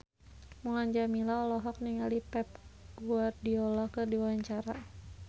Mulan Jameela olohok ningali Pep Guardiola keur diwawancara